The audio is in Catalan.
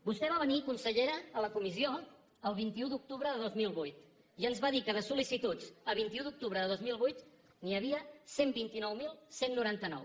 vostè va venir consellera a la comissió el vint un d’octubre de dos mil vuit i ens va dir que de sol·licituds a vint un d’octubre de dos mil vuit n’hi havia cent i vint nou mil cent i noranta nou